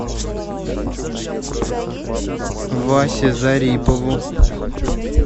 васе зарипову